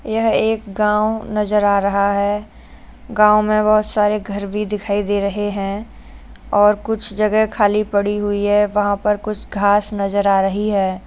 यह एक गाँव नज़र आ रहा है। गाँव में बोहोत सारे घर भी दिखाई दे रहे हैं और कुछ जगह खाली पड़ी हुई है वहाॅं पर कुछ घांस नज़र आ रही है।